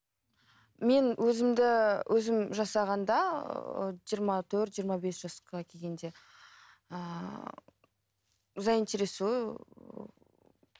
мен өзімді өзім жасағанда жиырма төрт жиырма бес жасқа келгенде ііі заинтересую